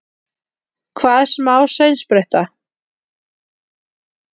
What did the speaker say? Hvað, smá saumspretta!